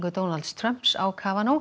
Donalds Trumps á